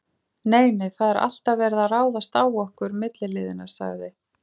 Nei, nei, það er alltaf verið að ráðast á okkur milliliðina sagði